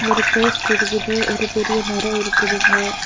ஒரு போஸ்ட் இருக்குது. ஒரு பெரிய மரம் இருக்குதுங்க.